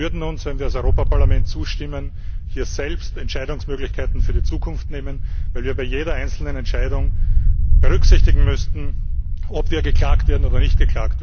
Wir würden uns, wenn wir als Europäisches Parlament zustimmen, hier selbst Entscheidungsmöglichkeiten für die Zukunft nehmen, weil wir bei jeder einzelnen Entscheidung berücksichtigen müssten, ob wir angeklagt werden oder nicht.